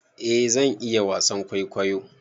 eh zan iya wasan kwaikwayo